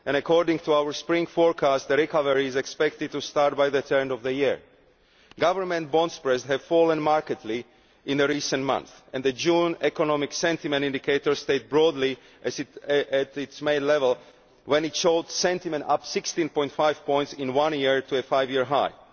According to our spring forecast the recovery is expected to start by the turn of the year. Government bond spreads have fallen markedly in recent months and the June economic sentiment indicators stayed broadly at their May level when they showed sentiment up 16.5 points in one year to a five year high.